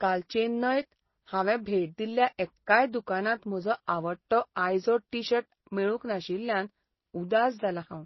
काल चेन्नयंत हांवें भेट दिल्ल्या एक्काय दुकानांत म्हजो आवडटो आयझोड टीशर्ट मेळूंक नाशिल्ल्यान उदास जालां हांव .